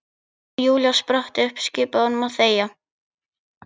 Og Júlía spratt upp, skipaði honum að þegja.